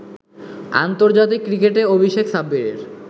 আন্তর্জাতিক ক্রিকেটে অভিষেক সাব্বিরের